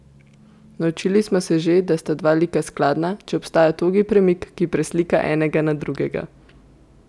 Naučili smo se že, da sta dva lika skladna, če obstaja togi premik, ki preslika enega na drugega.